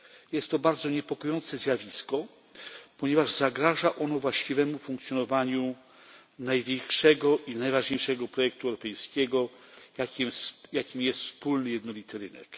Jest to bardzo niepokojące zjawisko, ponieważ zagraża ono właściwemu funkcjonowaniu największego i najważniejszego projektu europejskiego, jakim jest wspólny jednolity rynek.